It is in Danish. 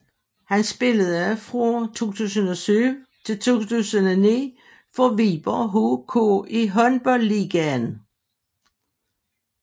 Han spillede fra 2007 til 2009 for Viborg HK i Håndboldligaen